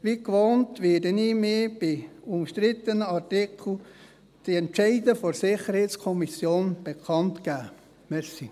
Wie gewohnt, werde ich bei umstrittenen Artikeln die Entscheide der SiK bekannt geben.